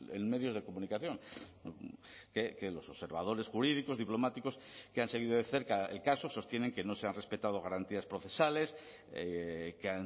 en medios de comunicación que los observadores jurídicos diplomáticos que han seguido de cerca el caso sostienen que no se han respetado garantías procesales que